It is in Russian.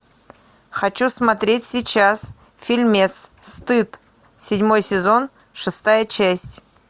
хочу смотреть сейчас фильмец стыд седьмой сезон шестая часть